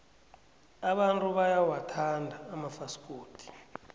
abantu bayawathanda amafasikodi